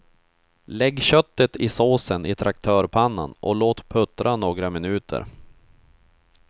Lägg köttet i såsen i traktörpannan och låt puttra några minuter.